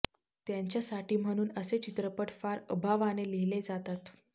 त्यांच्यासाठी म्हणून असे चित्रपट फार अभावाने लिहिले जातात